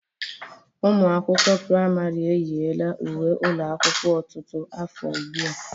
Ụmụ akwụkwọ pramarị eyila uwe ụlọ akwụkwọ ọtụtụ afọ ugbu a.